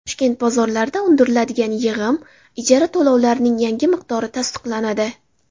Toshkent bozorlarida undiriladigan yig‘im, ijara to‘lovlarining yangi miqdori tasdiqlanadi.